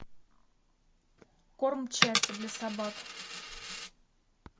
корм чаппи для собак